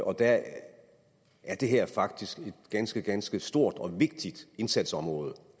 og der er det her faktisk et ganske ganske stort og vigtigt indsatsområde